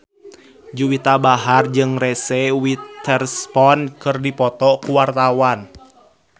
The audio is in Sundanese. Juwita Bahar jeung Reese Witherspoon keur dipoto ku wartawan